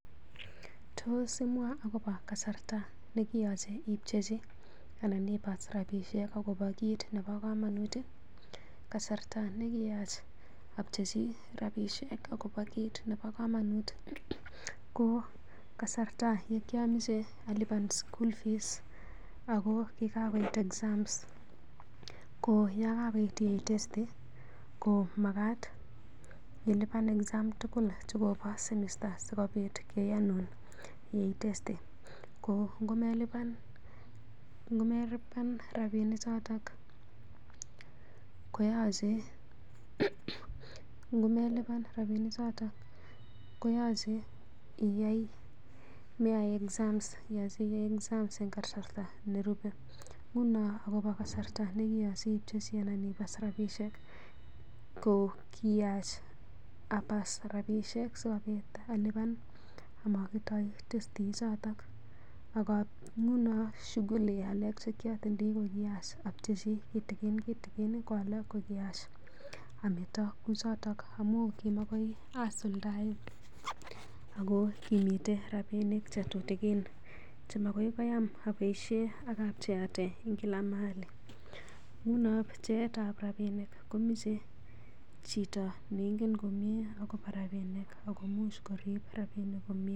Tos imwaa agobo kasarta ne kiyochei ipchechi anan ibaas rabisiek agobo kiit ne bo kamanut? Kasarta nekiyach apcheichi rabishek agobo kiit nebo komonut ko kasarta ne kiamache alipan school fees ago kigakoit exams ko yon kagoit kiyai testi komagat ilipan exam tugul chekobo semester sikobit keyanun iyai testi. Ko ngomelipan rabinik choto koyoche komeyai exam exam iyae exam en kasarte nerupe. Nguno agopo kasarta ne kiyoche ipchechi anan kebas rabishek ko kiyach abas rabishek sikobit alipan amokitoi testishek choto. Nguno shughuli alak che kiotindoi kokiyach apchechi kitikin kitikin ak alak kokiyach ameto kouchoto amu kimakoi asuldaen ago kimiten rapinik tutikin che magoi koyam aboisie ak a pcheate en kila mahali. Nguno pcheet ab rabinik komoche chito neingen komye agobo rabinik ago imuch korib rabinik komye.